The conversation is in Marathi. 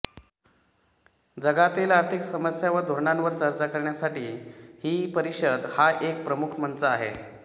जगातील आर्थिक समस्या व धोरणांवर चर्चा करण्यासाठी ही परिषद हा एक प्रमुख मंच आहे